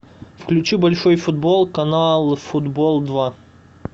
включи большой футбол канал футбол два